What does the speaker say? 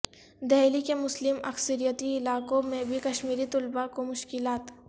دہلی کے مسلم اکثریتی علاقوں میں بھی کشمیری طلبہ کو مشکلات